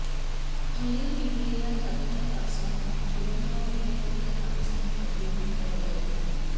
olive ridley या जातीच्या कासवांना जीवदान देण्यात येथील ग्रामस्थांनी मोठी भूमिका बजावली आहे